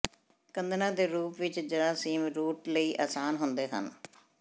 ਕੱਦਿਣਾਂ ਦੇ ਰੂਪ ਵਿੱਚ ਜਰਾਸੀਮ ਰੂਟ ਲਈ ਆਸਾਨ ਹੁੰਦੇ ਹਨ